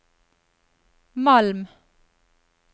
Malm